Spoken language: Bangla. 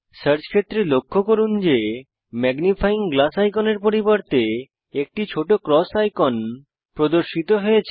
সার্চ ক্ষেত্রে লক্ষ্য করুন যে ম্যাগনিফায়িং গ্লাস আইকনের পরিবর্তে একটি ছোট ক্রস আইকন প্রদর্শিত হয়